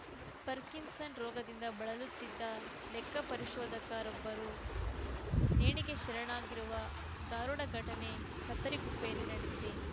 Parkinson ರೋಗದಿಂದ ಬಳಲುತ್ತಿದ್ದ ಲೆಕ್ಕಪರಿಶೋಧಕ ರೊಬ್ಬರು ನೇಣಿಗೆ ಶರಣಾಗಿರುವ ಧಾರುಣ ಘಟನೆ ಕತ್ತರಿಗುಪ್ಪೆಯಲ್ಲಿ ನಡೆದಿದೆ